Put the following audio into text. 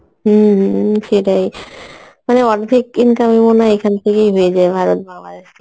হম হম সেটাই মানে অর্ধেক income ই মনেহয় এখান থেকেই হয়ে যায় ভার্রত বাংলাদেশ থেকে